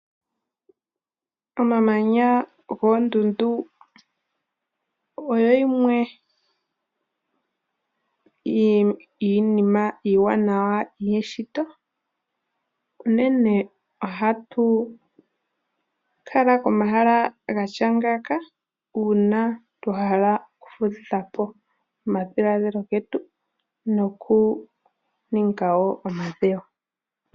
Omamanya goondundu oyo yimwe yiinima iiwanawa yeshito. Uune ohatu kala komahala gatya ngaaka uuna twa hala okufudhitha po omadhilaadhilo getu notwa hala oku ninga omadhewo.